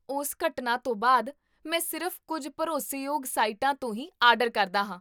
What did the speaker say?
ਉਸ ਘਟਨਾ ਤੋਂ ਬਾਅਦ, ਮੈਂ ਸਿਰਫ਼ ਕੁੱਝ ਭਰੋਸੇਯੋਗ ਸਾਈਟਾਂ ਤੋਂ ਹੀ ਆਰਡਰ ਕਰਦਾ ਹਾਂ